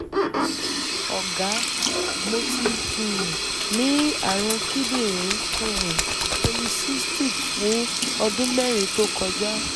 ọ̀gá mo ti um ní ààrùn kíndìnrín um polycystic fún ọdún mẹ́rin tó kọjá